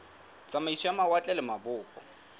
tsamaiso ya mawatle le mabopo